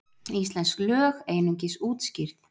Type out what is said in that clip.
Íslensk lög einungis útskýrð